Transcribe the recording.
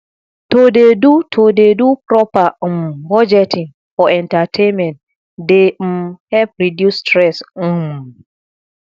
to dey do to dey do proper um budgeting for entertainment dey um help reduce stress um